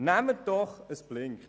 Das Lämpchen blinkt.